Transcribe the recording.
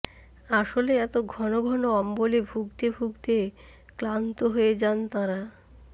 আসলে এত ঘনঘন অম্বলে ভুগতে ভুগতে ক্লান্ত হয়ে যান তাঁরা